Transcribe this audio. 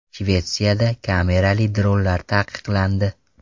Shvetsiyada kamerali dronlar taqiqlandi.